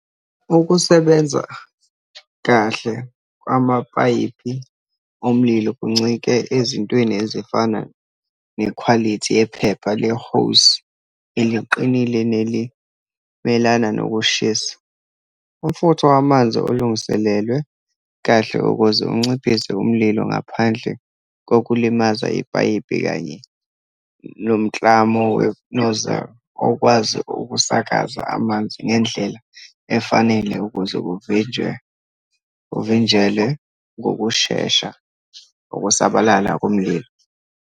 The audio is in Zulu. Ukusebenza kahle kwamapayipi omlilo kuncike ezintweni ezifana nekhwalithi yephepha le-hose eliqinile, nelimelana nokushisa, umfutho wamanzi olungiselelwe kahle ukuze unciphise umlilo ngaphandle kokulimaza ipayipi, kanye nomklamo we-nozzle, okwazi ukusakaza amanzi ngendlela efanele ukuze kuvinjwe, kuvinjelwe ngokushesha ukusabalala komlilo.